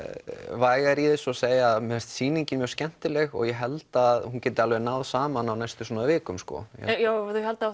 vægari í þessu og segja að mér finnst sýningin mjög skemmtileg og ég held að hún geti alveg náð saman á svona viku sko já ef þau halda